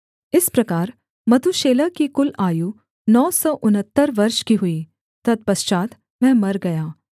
इस प्रकार मतूशेलह की कुल आयु नौ सौ उनहत्तर वर्ष की हुई तत्पश्चात् वह मर गया